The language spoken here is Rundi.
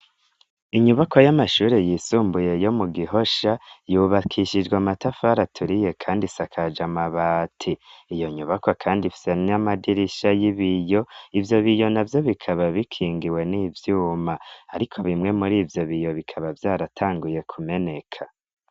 Inyubakwa y'amashure yisumbuye yo mu Gihosha yubakishijwe amatafari aturiye kandi isakaje amabati, iyo nyubakwa kandi ifise n'amadirisha y'ibiyo, ivyo biyo navyo bikaba bikingiwe n'ivyuma, ariko bimwe muri ivyo biyo bikaba vyaratanguye kumeneka.